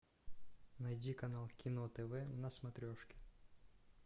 найди канал кино тв на смотрешке